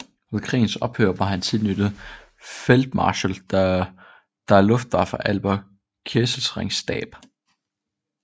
Ved krigens ophør var han tilknyttet Feldmarschall der Luftwaffe Albert Kesselrings stab